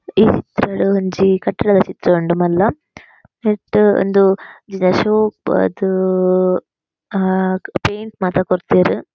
ಈ ಡ್ ಒಂಜಿ ಕಟ್ಟಡದ ಚಿತ್ರ ಉಂಡು ಮಲ್ಲ ನೆಟ್ ಇಂದು ಆದ್ ಆ ಪೈಂಟ್ ಮಾತ ಕೊರ್ತೆರ್.